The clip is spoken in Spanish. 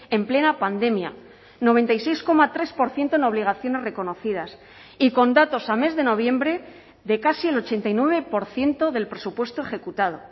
en plena pandemia noventa y seis coma tres por ciento en obligaciones reconocidas y con datos a mes de noviembre de casi el ochenta y nueve por ciento del presupuesto ejecutado